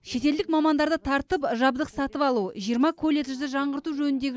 шетелдік мамандарды тартып жабдық сатып алу жиырма колледжді жаңғырту жөніндегі